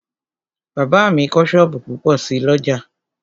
Bàbá mi kọ́ sọ́ọ̀bù púpọ̀ sí l'ọ́jà